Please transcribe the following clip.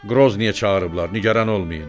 Qroznıyə çağırıblar, nigaran olmayın.